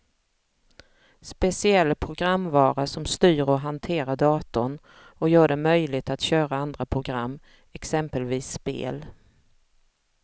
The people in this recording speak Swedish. Speciell programvara som styr och hanterar datorn och gör det möjligt att köra andra program, exempelvis spel.